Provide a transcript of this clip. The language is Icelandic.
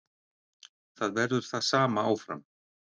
Það verður það sama áfram.